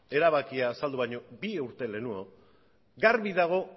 erabakia azaldu baino bi urte lehenago garbi dago